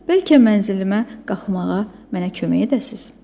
Bəlkə mənzilimə qalxmağa mənə kömək edəsiz?